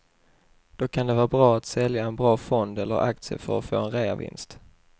Då kan det vara bra att sälja en bra fond eller aktie för att få en reavinst.